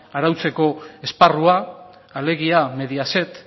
arautzeko esparrua alegia mediaset